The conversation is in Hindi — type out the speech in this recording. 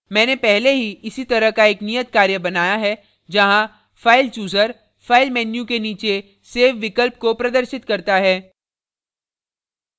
मैंने पहले ही इसी तरह का एक नियत कार्य बनाया है जहाँ filechooser file menu के नीचे सेव विकल्प को प्रदर्शित करता है